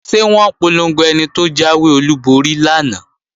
Ṣé wọ́n polongo ẹni tó jáwé olúborí lánàá?